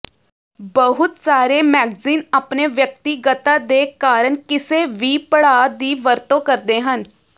ਬਹੁਤ ਸਾਰੇ ਮੈਗਜ਼ੀਨ ਆਪਣੇ ਵਿਅਕਤੀਗਤਤਾ ਦੇ ਕਾਰਨ ਕਿਸੇ ਵੀ ਪੜਾਅ ਦੀ ਵਰਤੋਂ ਕਰਦੇ ਹਨ